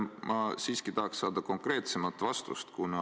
Ma siiski tahaks saada konkreetsemat vastust.